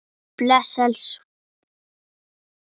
Hvar eru danirnir okkar?